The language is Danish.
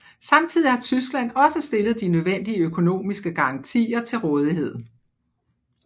Samtidig har Tyskland også stillet de nødvendige økonomiske garantier til rådighed